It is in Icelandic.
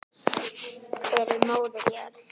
Fyrir móður jörð.